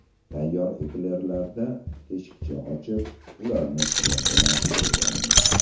Tayyor eklerlarda teshikcha ochib, ularni krem bilan to‘ldiramiz.